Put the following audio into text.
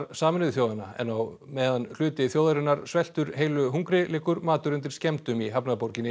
Sameinuðu þjóðanna en á meðan hluti þjóðarinnar sveltur heilu hungri liggur matur undir skemmdum í hafnarborginni